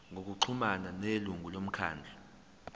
ngokuxhumana nelungu lomkhandlu